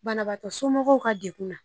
Banabaatɔ somɔgɔw ka degun na